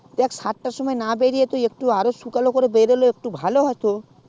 দেখ তুই সাত তার সময় না বেরোলে ভালো হতো